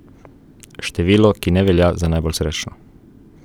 Število, ki ne velja za najbolj srečno.